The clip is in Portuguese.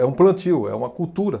É um plantio, é uma cultura.